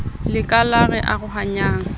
le ka la re arohanyang